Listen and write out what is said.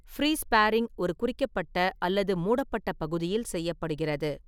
Free sparring ஒரு குறிக்கப்பட்ட அல்லது மூடப்பட்ட பகுதியில் செய்யப்படுகிறது.